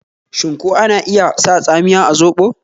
Shin ko ana iya sa tsamiya a zoɓo?